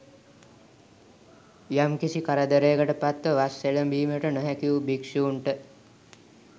යම්කිසි කරදරයකට පත්ව වස් එළඹීමට නො හැකි වූ භික්ෂූන්ට